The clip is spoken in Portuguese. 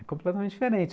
É completamente diferente.